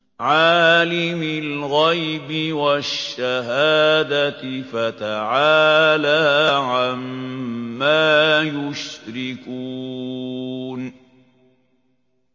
عَالِمِ الْغَيْبِ وَالشَّهَادَةِ فَتَعَالَىٰ عَمَّا يُشْرِكُونَ